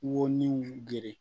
Wo ni geren